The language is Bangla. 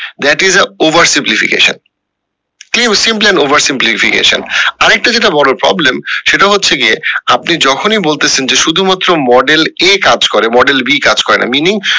that is a Over simplification that is a over Over simplification আরেকটা যেটা বড়ো problem সেটা হচ্ছে গিয়ে আপনি যখনি বলতেসেন যে শুধু মাত্র model A কাজ করে model B কাজ করে না meaning